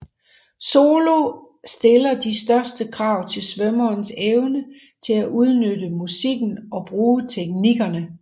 Solo stiller de største krav til svømmerens evne til at udnytte musikken og bruge teknikkerne